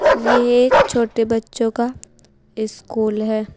ये एक छोटे बच्चों का स्कूल है।